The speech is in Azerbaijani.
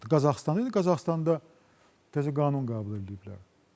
Qazaxıstan Qazaxıstanda təzə qanun qəbul eləyiblər.